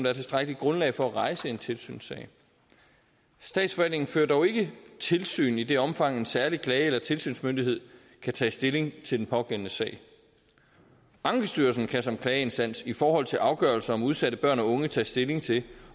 er tilstrækkeligt grundlag for at rejse en tilsynssag statsforvaltningen fører dog ikke tilsyn i det omfang en særlig klage eller tilsynsmyndighed kan tage stilling til den pågældende sag ankestyrelsen kan som klageinstans i forhold til afgørelser om udsatte børn og unge tage stilling til